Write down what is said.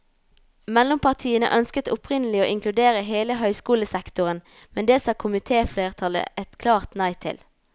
Mellompartiene ønsket opprinnelig å inkludere hele høyskolesektoren, men det sa komitéflertallet et klart nei til.